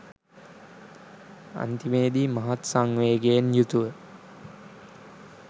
අන්තිමේදී මහත් සංවේගයෙන් යුතුව